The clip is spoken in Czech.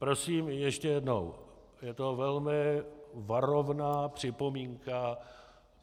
Prosím ještě jednou, je to velmi varovná připomínka.